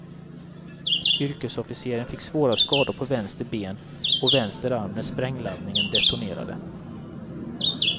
Yrkesofficeren fick svåra skador på vänster ben och vänster arm när sprängladdningen detonerade.